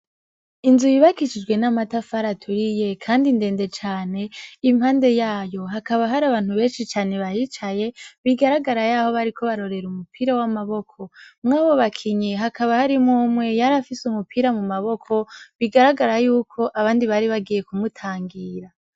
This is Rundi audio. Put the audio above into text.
Inzu yukashijwe amatafari aturiye kandi ndende cane impande yayo hakaba hari n'abantu beshi cane bahicaye bigararagara yaho bariko barorera umupira w'amaboko murabo bakinyi hakaba harimwo umwe yarafise umupira mu maboko bigaragara yuko abandi bari bagiye ku mutangira.